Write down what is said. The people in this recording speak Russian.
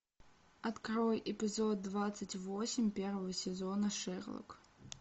открой эпизод двадцать восемь первого сезона шерлок